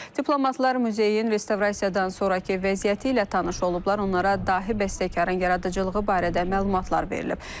Diplomatlar muzeyin restavrasiyadan sonrakı vəziyyəti ilə tanış olublar, onlara dahi bəstəkarın yaradıcılığı barədə məlumatlar verilib.